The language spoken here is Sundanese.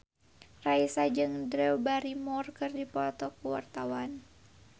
Raisa jeung Drew Barrymore keur dipoto ku wartawan